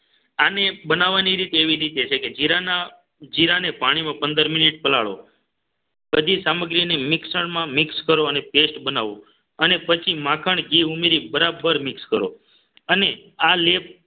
આને બનાવવાની રીતે એવી રીતે છે કે જીરાના જીરાને પાણીમાં પંદર મિનિટ પલાળો. પછી સામગ્રીને મિક્સરમાં મિક્સ કરો અને paste બનાવો અને પછી માખણ ઘી ઉમેરી બરાબર મિક્સ કરો અને આ લેપ